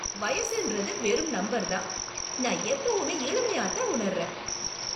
வயசுன்றது வெறும் நம்பர்தான். நான் எப்பவுமே இளமையாத்தான் உணருறேன்.